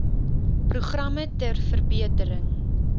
programme ter verbetering